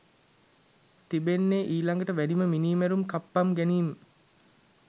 තිබෙන්නේ ඊළඟට වැඩිම මිනීමැරුම් කප්පම් ගැනීම්